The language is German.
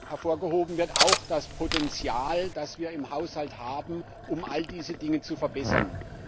Hervorgehoben wird auch das Potenzial, das wir im Haushalt haben, um all diese Dinge zu verbessern.